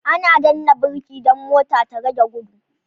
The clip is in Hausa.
Ana danna birki dan mota da rage gudu